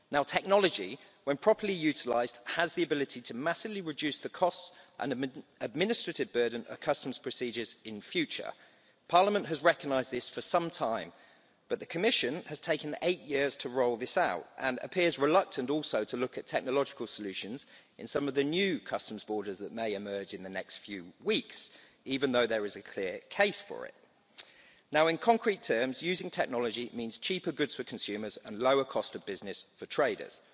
Technology, when properly utilised, has the ability to massively reduce the costs and administrative burden of customs procedures in future. Parliament has recognised this for some time, but the Commission has taken eight years to roll this out and also appears reluctant to look at technological solutions in some of the new customs borders that may emerge in the next few weeks, even though there is a clear case for it. In concrete terms, using technology means cheaper goods for consumers and lower costs of business for traders.